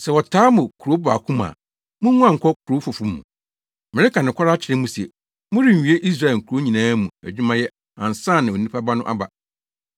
Sɛ wɔtaa mo kurow baako mu a, munguan nkɔ kurow foforo mu. Mereka nokware akyerɛ mo se morenwie Israel nkurow nyinaa mu adwumayɛ ansa na Onipa Ba no aba.